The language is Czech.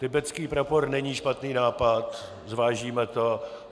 Tibetský prapor není špatný nápad, zvážíme to.